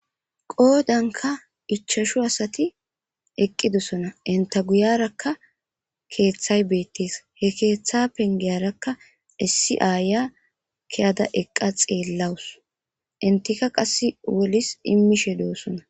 Qoodanka ichashu asati eqqidosona. Enta guyarakka keeththay beettees. He keeththa pengiyarakka issi aya kiyada eqqa xeellawus. Entika qasse wolis immishe do'ossona.